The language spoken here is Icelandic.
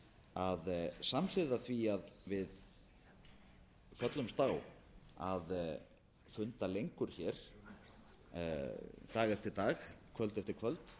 að samhliða því að við föllumst á að funda lengur hér dag eftir dag kvöld eftir